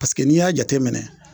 Paseke n'i y'a jateminɛ